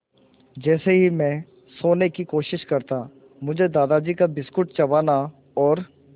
जैसे ही मैं सोने की कोशिश करता मुझे दादाजी का बिस्कुट चबाना और